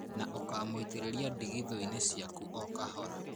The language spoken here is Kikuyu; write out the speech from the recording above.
Na ũkamũitĩrĩria ndigithũ-inĩ ciaku o kahora.